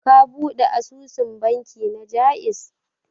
Ka ɓude asusun banki na Ja'iz.